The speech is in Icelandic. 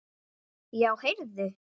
Já, heyrðu.